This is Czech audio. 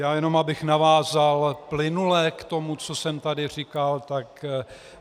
Já jenom abych navázal plynule k tomu, co jsem tady říkal, tak -